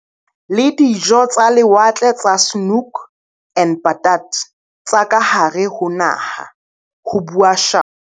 Le dijo tsa lewatle tsa Snoek en Patat tsa kahare ho naha, ho bua Shaw.